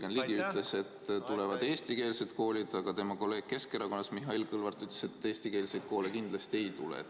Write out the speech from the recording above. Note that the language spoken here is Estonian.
Jürgen Ligi ütles, et tulevad eestikeelsed koolid, aga kolleeg Keskerakonnast, Mihhail Kõlvart ütles, et ainult eestikeelseid koole kindlasti ei tule.